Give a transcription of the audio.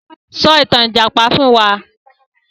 Sọ ìtàn Ìjàpá fún wa!